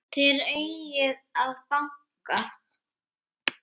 Þér eigið að banka!